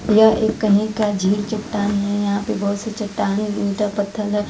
यह एक कहीं का झील चट्टान है यहां पे बहोत सारे चट्टान ईटा पत्थर--